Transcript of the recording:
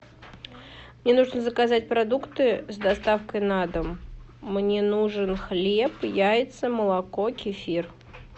мне нужно заказать продукты с доставкой на дом мне нужен хлеб яйца молоко кефир